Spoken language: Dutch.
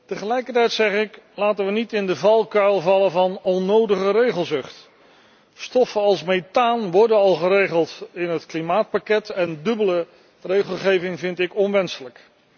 Tegelijkertijd mogen we niet in de valkuil vallen van onnodige regelzucht. Stoffen als methaan worden al geregeld in het klimaatpakket en dubbele regelgeving vind ik onwenselijk.